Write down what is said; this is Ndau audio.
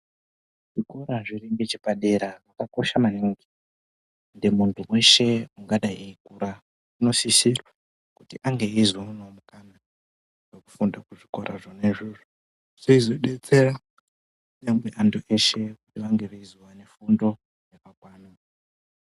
Zvikora zviri ngeche padera zvakakosha maningi kuti muntu weshe ungadai eyikura uno sisirwa kuti ange eyizo onawo mukana weku funda ku zvikora zvona izvozvo zveizo detsera kunyangwe antu eshe kuti vange veizo one fundo yakakwana.